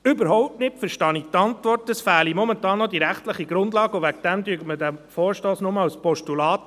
Überhaupt nicht verstehe ich die Antwort, dass momentan noch die rechtliche Grundlage fehle, und deshalb anerkenne man den Vorstoss nur als Postulat.